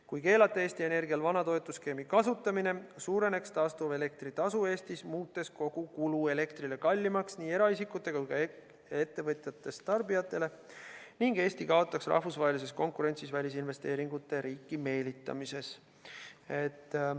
Kui keelata Eesti Energial vana toetusskeemi kasutamine, siis suureneks taastuvelektri tasu Eestis, muutes elektri kogukulu kallimaks nii eraisikutele kui ka ettevõtjatest tarbijatele, ning Eesti kaotaks rahvusvahelises konkurentsis välisinvesteeringute riiki meelitamisel.